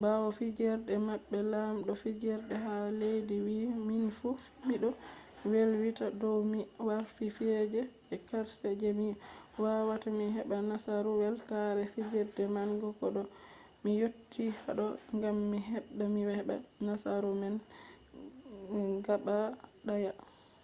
ɓawo fijerde maɓɓe lamɗo fijerde ha leddi wi minfu miɗo welwita dow mi warti fijerde je karshe je mi wawata mi heɓa nasaru weltare fijerde manga ɗo mi yotti haɗɗo gam mi habda mi heɓa nasauru man gaɓa ɗaya